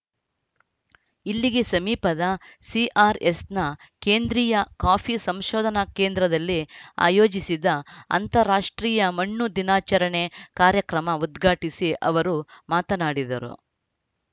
ಇಲ್ಲಿಗೆ ಸಮೀಪದ ಸಿಆರ್‌ಎಸ್‌ನ ಕೇಂದ್ರೀಯ ಕಾಫಿ ಸಂಶೋಧನಾ ಕೇಂದ್ರದಲ್ಲಿ ಆಯೋಜಿಸಿದ್ದ ಅಂತಾರಾಷ್ಟ್ರೀಯ ಮಣ್ಣು ದಿನಾಚರಣೆ ಕಾರ್ಯಕ್ರಮ ಉದ್ಘಾಟಿಸಿ ಅವರು ಮಾತನಾಡಿದರು